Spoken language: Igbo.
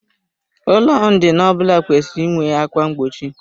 Ụlọ ndina ọbụla kwesịrị inwe ákwà mgbochi.